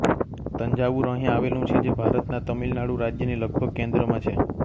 તંજાવુર અહીં આવેલું છે જે ભારતના તમિલનાડુ રાજ્યની લગભગ કેન્દ્રમાં છે